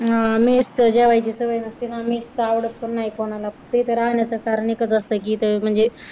mess जेवायची सवय नसते mess च आवडत पण नाही कोणाला फक्त इथं राहण्याच कारण एकच असत की इतर म्हणजे